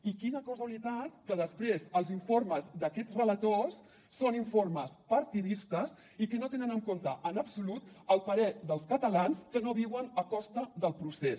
i quina casualitat que després els informes d’aquests relators són informes partidistes i que no tenen en compte en absolut el parer dels catalans que no viuen a costa del procés